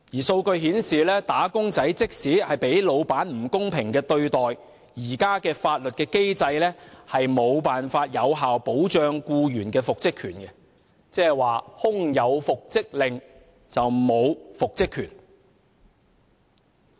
數據顯示，"打工仔"即使遭老闆不公平對待，現時的法律機制也無法有效保障僱員的復職權；即是空有復職令，沒有復職權。